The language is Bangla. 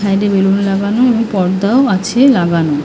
সাইড - এ বেলুন লাগানো এবং পর্দাও আছে লাগানো ।